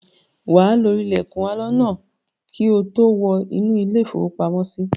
Wà á lo ilẹ̀kùn aloná náà kí ó tó wọ inú ilé-ìfowópamọ́sí.